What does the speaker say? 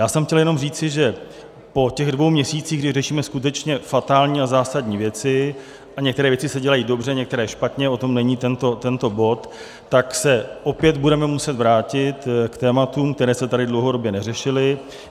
Já jsem chtěl jenom říci, že po těch dvou měsících, kdy řešíme skutečně fatální a zásadní věci - a některé věci se dělají dobře, některé špatně, o tom není tento bod - tak se opět budeme muset vrátit k tématům, která se tady dlouhodobě neřešila.